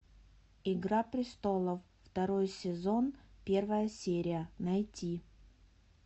игра престолов второй сезон первая серия найти